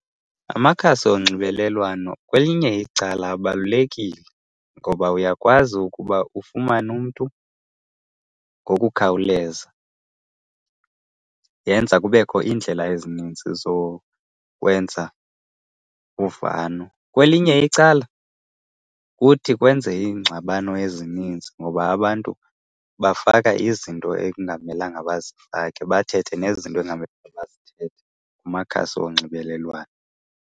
Amakhasi onxibelelwano kwelinye icala abalulekile ngoba uyakwazi ukuba ufumane umntu ngokukhawuleza. Yenza kubekho iindlela ezininzi zokwenza uvano. Kwelinye icala kuthi kwenze iingxabano ezininzi ngoba abantu bafaka izinto ekungamelanga bazifake, bathethe nezinto ekungamele bazithethe kumakhasi onxibelelwano.